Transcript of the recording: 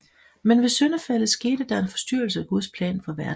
Men ved syndefaldet skete der en forstyrrelse af Guds plan for verden